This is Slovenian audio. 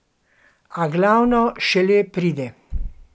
A glavno šele pride.